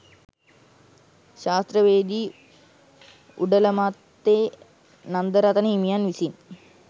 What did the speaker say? ශාස්ත්‍රවේදී උඩලමත්තේ නන්දරතන හිමියන් විසින්